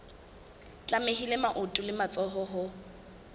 tlamehile maoto le matsoho ho